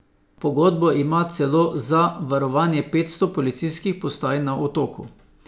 Pogodbo ima celo za varovanje petsto policijskih postaj na Otoku.